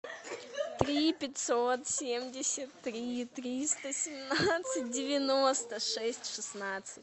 три пятьсот семьдесят три триста семнадцать девяносто шесть шестнадцать